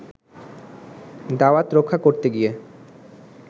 দাওয়াত রক্ষা করতে গিয়ে